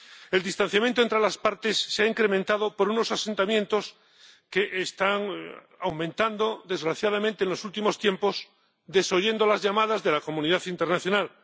El distanciamiento entre las partes se ha incrementado por unos asentamientos que están aumentando, desgraciadamente, en los últimos tiempos, desoyendo las llamadas de la comunidad internacional.